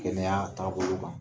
Kɛnɛya taabolo kan